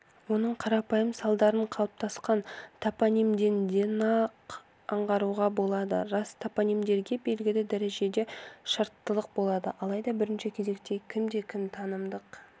оның қарапайым салдарын қалыптасқан топонимдерденақ аңғаруға болады рас топонимдерде белгілі дәрежеде шарттылық болады алайда бірінші кезекте кім-кімге де танымдық